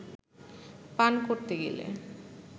পান করতে গেলে